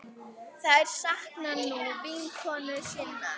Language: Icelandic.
Þær sakna nú vinkonu sinnar.